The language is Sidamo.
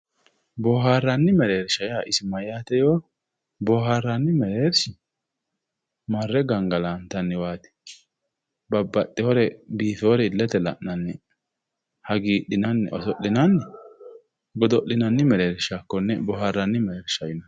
boohaarranni mereersha yaa isi mayaate yoo boohaarranni mereersh marre gangalantanniwaati babbaxinore biife"oore illete la'nanni hagiixinanni oso'linanni godo'linanni mereersha konne boohaaranni mereersha yinanni